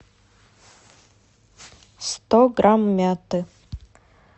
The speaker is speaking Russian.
сто грамм мяты